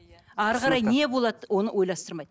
әрі қарай не болады оны ойластырмайды